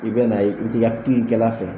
I bɛ n'a ye i bi t'i ka piikɛla fɛ